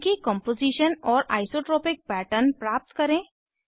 उनकी कॉम्पोजीशन और isotropic pattern प्राप्त करें